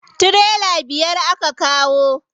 Tirela biyar aka kawo.